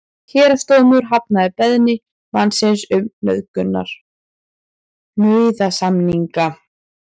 Héraðsdómur hafnaði beiðni mannsins um nauðasamninga